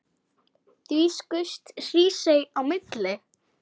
Þá skaust Hrísey á milli.